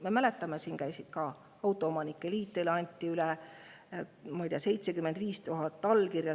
Me mäletame, et siin käis ka autoomanike liit ja teile anti üle 75 000 allkirjaga.